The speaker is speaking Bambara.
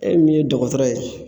E min ye dɔgɔtɔrɔ ye.